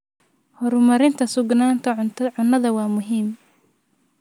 Horumarinta sugnaanta cunnada waa muhiim.